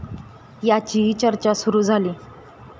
याचीही चर्चा सुरू झाली.